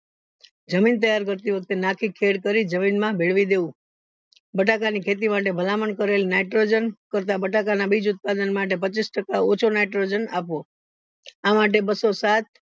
જમીન તૈયાર કરતી વખતે નાખી ખેડ કરી જમીન માં ભેળવી દેવું બટાકા ની ખેતી માટે ભલામણ કરેલ nitrogen કરતા બટાકા ના બીજ ઉત્પાદન માટે પચીસ ટકા ઓછો nitrogen આપવો આ માટે બસ્સોસાત